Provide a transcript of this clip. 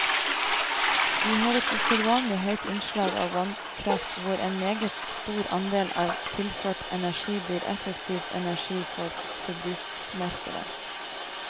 Vi har et usedvanlig høyt innslag av vannkraft hvor en meget stor andel av tilført energi blir effektiv energi for forbruksmarkedet.